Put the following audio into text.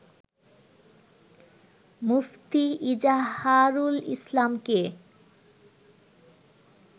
মুফতি ইজাহারুল ইসলামকে